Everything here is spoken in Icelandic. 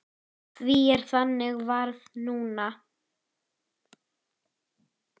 Því er þannig varið núna.